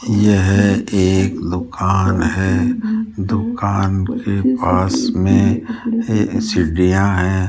यह एक दुकान है दुकान के पास मे ये सीढ़ियां है।